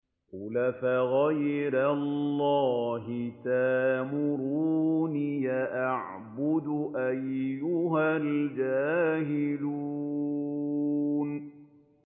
قُلْ أَفَغَيْرَ اللَّهِ تَأْمُرُونِّي أَعْبُدُ أَيُّهَا الْجَاهِلُونَ